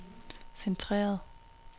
centreret